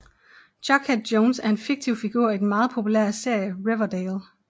Jughead Jones er en fiktiv figur i den meget populære serie Riverdale